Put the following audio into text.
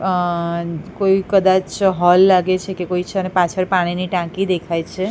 અ કોઇ કદાચ હોલ લાગે છે કે કોઈ છે અને પાછળ પાણીની ટાંકી દેખાય છે.